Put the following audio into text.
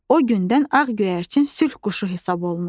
O gündən ağ göyərçin sülh quşu hesab olunur.